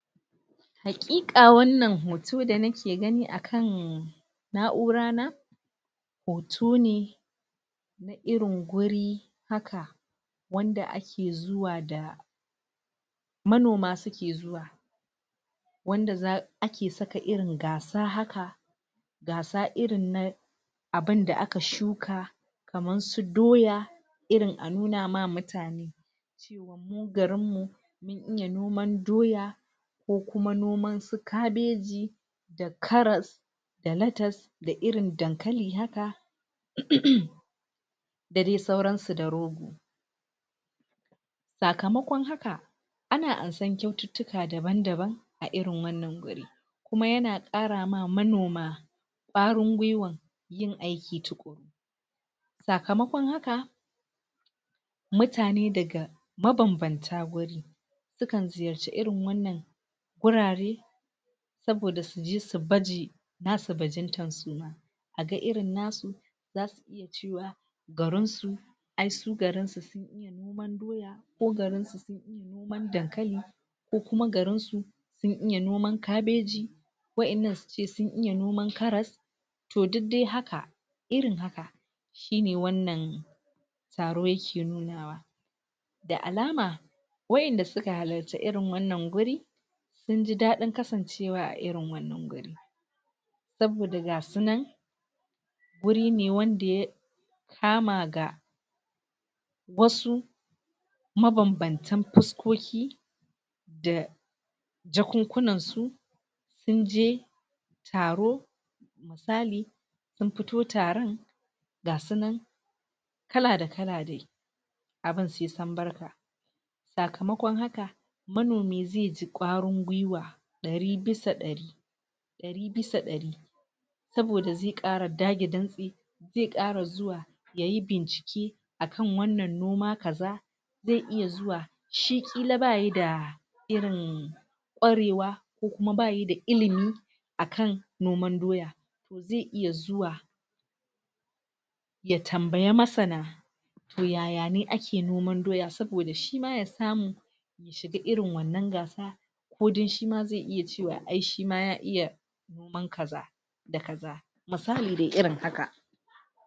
Haƙiƙa wannan hoto da nake gani akan na'urana hoto ne na irin guri haka wanda ake zuwa da manoma suke zuwa wanda za ake saka irin gasa haka gasa irinna abunda aka shuka kaman su doya, irin a nuna ma mutane cewan mu garin mu sun iya noman doya, ko kuma noman su kabeji, da karas, da latas, da irin dankali haka em da dai sauran su da. Sakamakon haka ana ansan ƙyaututtuka daban-daban a irin wannan guri kuma yana kara ma manoma kwarin gwiwan yin aiki tukun, sakamakon haka mutane daga mabanbanta guri sukan ziyarci irin wannan wurare saboda suje su baje nasu bajintan suma nasu bajintan suma a ga irin nasu zasu iya cewa garin su ai su garin su ai su garinsu sun iya noman doya ko garinsu sun iya noman dankali ko kuma garinsu un iya noman kabeji, wa'innan suce sun iya noman karas. Toh duk dai haka irin haka shine wannan taro yake nuna wa da alama wa'inda suka halarci irin wannan guri sunji daɗin kasancewa a irin wannan guri saboda gasu nan wuri ne wanda ya kama ga wasu mabanbantan fuskoki da jakunkunan su sunje taro misali sun fito taran ga sunan kala da kala dai abun sai sam barka, sakamakon haka manomi ze ji kwarin gwiwa ɗari bisa ɗari ɗari bisa ɗari saboda ze ƙara dage dantse ze ƙara zuwa yayi bincike akan wannan noma kaza ze iya zuwa shi ƙila bayida irin ƙwarewa ko kuma bayida ilimi akan noman doya, ze iya zuwa ya tambaya masana toh yaya ne ake noman doya saboda shima ya samu ya shiga irin wannan gasa ko dan shima ze iya cewa ai shima ya iya noman kaza da kaza musali dai irin haka.